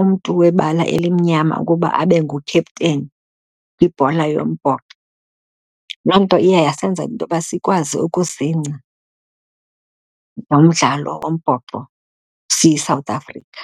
umntu webala elimnyama ukuba abe ngukhepteni kwibhola yombhoxo. Loo nto iya yasenza intoba sikwazi ukuzingca ngomdlalo wombhoxo siyiSouth Africa.